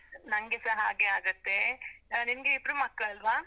ನಂಗೆಸ ಹಾಗೇ ಆಗುತ್ತೆ, ಆ ನಿಮ್ಗೆ ಇಬ್ರು ಮಕ್ಳಲ್ವ?